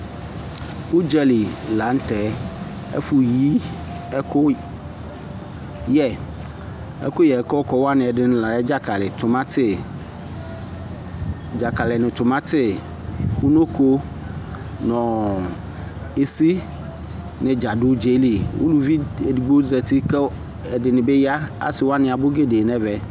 Udzali la nu tɛ ɛfu yi ɛkuyɛ ɛkuyɛ kɔkɔ la nu tɛ dzakali nu timati nu unoko nu isi nu dza du udzaɛli uluvi edigbo di zati ɛdini bi ya asiwani bi abu nu udzaɛli